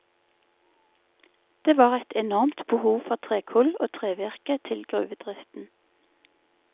Det var et enormt behov for trekull og trevirke til gruvedriften.